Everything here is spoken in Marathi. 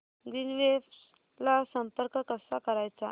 ग्रीनवेव्स ला संपर्क कसा करायचा